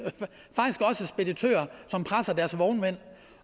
speditører som presser deres vognmænd